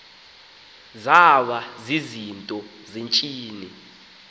zaba zizinto zentsini